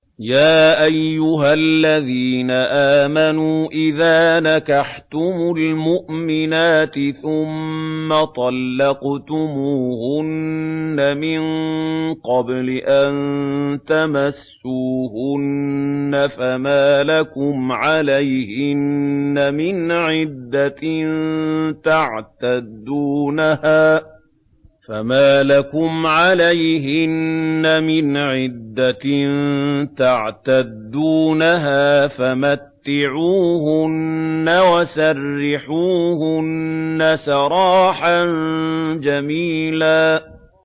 يَا أَيُّهَا الَّذِينَ آمَنُوا إِذَا نَكَحْتُمُ الْمُؤْمِنَاتِ ثُمَّ طَلَّقْتُمُوهُنَّ مِن قَبْلِ أَن تَمَسُّوهُنَّ فَمَا لَكُمْ عَلَيْهِنَّ مِنْ عِدَّةٍ تَعْتَدُّونَهَا ۖ فَمَتِّعُوهُنَّ وَسَرِّحُوهُنَّ سَرَاحًا جَمِيلًا